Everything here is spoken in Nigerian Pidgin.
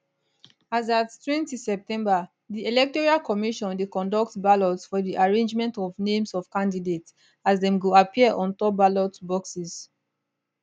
as attwentyseptember di electoral commission dey conduct ballot for di arrangement of names of candidates as dem go appear on top ballot boxes